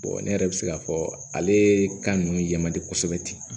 ne yɛrɛ bɛ se k'a fɔ ale ye kan ninnu yɛman de kosɛbɛ ten